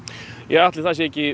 ætli það sé ekki